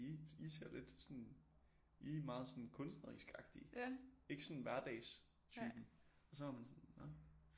I ser lidt I er meget sådan kunstnerisk agtige ikke sådan hverdagstypen og så var man sådan nå